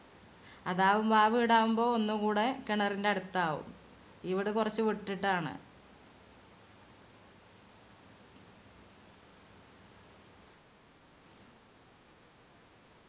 അതാവുമ്പോ ആ വീട് ആവുമ്പൊ ഒന്നുകൂടെ കിണറിന്റെ അടുത്താവും. ഇവിടെ കുറച് വിട്ടിട്ടാണ്.